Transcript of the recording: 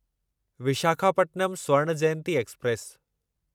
Visakhapatnam Swarna Jayanti express